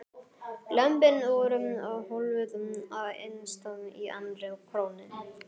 Lömbin voru hólfuð af innst í annarri krónni.